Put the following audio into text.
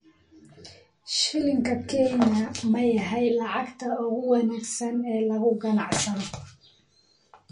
Shilinka Kenya ma yahay lacagta ugu wanaagsan ee lagu ganacsado?